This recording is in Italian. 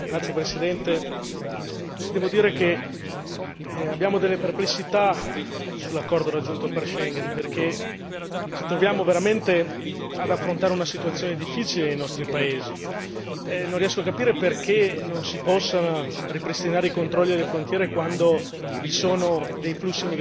Signor Presidente, onorevoli colleghi, devo dire che abbiamo delle perplessità sull'accordo raggiunto per Schengen, perché ci troviamo veramente ad affrontare una situazione difficile nei nostri paesi e non riesco a capire perché non si possa ripristinare i controlli alle frontiere quando